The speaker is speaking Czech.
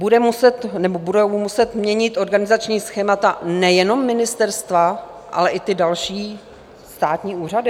Budou muset měnit organizační schémata nejenom ministerstva, ale i ty další státní úřady?